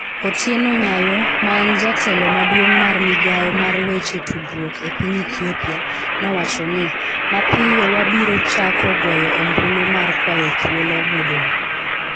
Otieno Nyayoo, ma en jatelo maduong' mar migawo mar weche tudruok e piny Ethiopia, nowacho ni, "Mapiyo, wabiro chako goyo ombulu mar kwayo thuolo modong'".